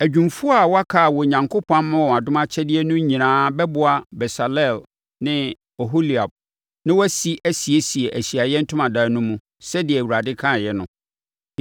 Adwumfoɔ a wɔaka a Onyankopɔn ama wɔn adom akyɛdeɛ no nyinaa bɛboa Besaleel ne Oholiab na wɔasi asiesie Ahyiaeɛ Ntomadan no mu, sɛdeɛ Awurade kaeɛ no.”